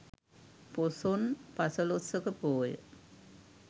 පොසොන් පසළොස්වක පෝය